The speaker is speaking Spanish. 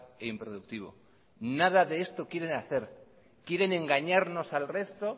e improductivo nada de esto quieren hacer quieren engañarnos al resto